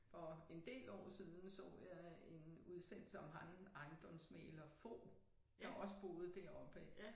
For en del år siden så jeg en udsendelse om ham ejendomsmægler Fog der også boede deroppe af